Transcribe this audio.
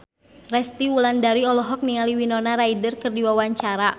Resty Wulandari olohok ningali Winona Ryder keur diwawancara